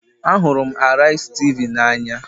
Ahụrụ m Araizi Tv n'anya